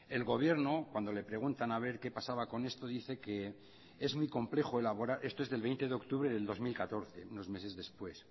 el gobierno cuando le preguntan a ver qué pasaba con esto dice que es muy complejo elaborar esto es del veinte de octubre del dos mil catorce unos meses después